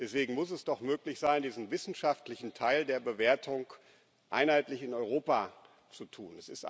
Deswegen muss es doch möglich sein, diesen wissenschaftlichen Teil der Bewertung in Europa einheitlich zu tun.